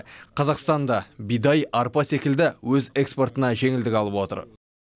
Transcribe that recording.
қазақстан да бидай арпа секілді өз экспортына жеңілдік алып отыр